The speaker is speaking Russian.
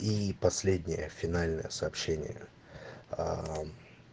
и последнее финальное сообщение аа